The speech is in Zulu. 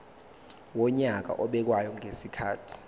wonyaka obekwayo ngezikhathi